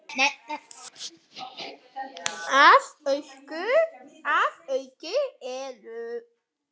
Að auki eru